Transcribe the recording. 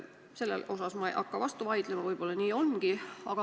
Sellele ei hakka ma vastu vaidlema, võib-olla nii ongi.